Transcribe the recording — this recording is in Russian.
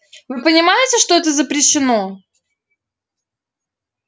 вы понимаете что это запрещено